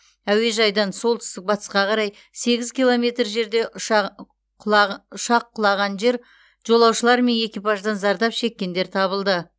әуежайдан солтүстік батысқа қарай сегіз километр жерде ұшақ құлаған жер жолаушылар мен экипаждан зардап шеккендер табылды